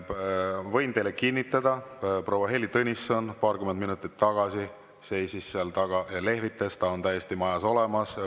Ma võin teile kinnitada, et proua Heili Tõnisson paarkümmend minutit tagasi seisis seal taga ja lehvitas, ta on täiesti majas olemas.